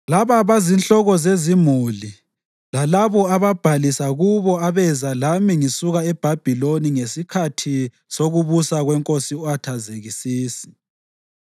Laba bazinhloko zezimuli lalabo ababhalisa kubo abeza lami sisuka eBhabhiloni ngesikhathi sokubusa kweNkosi u-Athazekisisi: